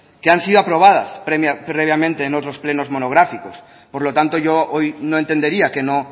que han sido aprobadas previamente en otros plenos monográficos por lo tanto yo hoy no entendería que no